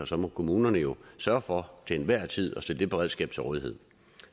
så må kommunerne jo sørge for til enhver tid at stille det beredskab til rådighed